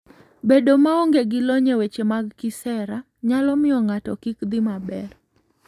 Bedo maonge gi lony e weche mag kisera nyalo miyo ng'ato kik dhi maber.